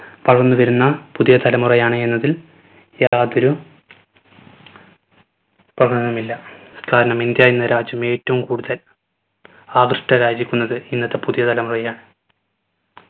വളർന്നു വരുന്ന പുതിയ തലമുറയാണ് എന്നതിൽ യാതൊരു മില്ല. കാരണം ഇന്ത്യ എന്ന രാജ്യം ഏറ്റവും കൂടുതൽ ആകൃഷ്ടരായിരിക്കുന്നത് ഇന്നത്തെ പുതിയ തലമുറയെയാണ്